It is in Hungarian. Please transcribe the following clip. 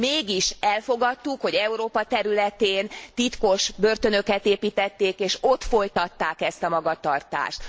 Mégis elfogadtuk, hogy Európa területén titkos börtönöket építettek és ott folytatták ezt a magatartást.